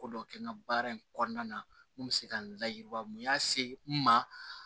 Ko dɔ kɛ n ka baara in kɔnɔna na n kun bɛ se ka n layiriwa n y'a se n ma